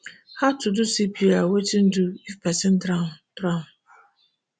how to do cpr wetin to do if pesin drown drown